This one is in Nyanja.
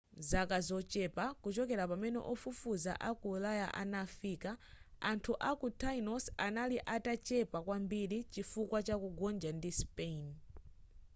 m'zaka zochepa kuchokera pamene ofufuza aku ulaya anafika anthu a ku tainos anali atachepepa kwambiri chifukwa cha kugonja ndi spain